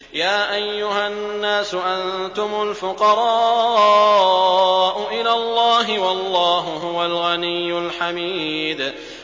۞ يَا أَيُّهَا النَّاسُ أَنتُمُ الْفُقَرَاءُ إِلَى اللَّهِ ۖ وَاللَّهُ هُوَ الْغَنِيُّ الْحَمِيدُ